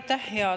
Aitäh!